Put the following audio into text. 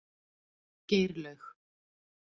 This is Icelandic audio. Geirlaug